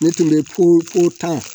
Ne tun bɛ ko ko tan